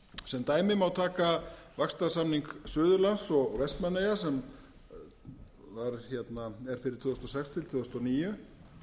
sem dæmi má taka vaxtarsamning suðurlands og vestmannaeyjar sem er fyrir tvö þúsund og sex til tvö þúsund og níu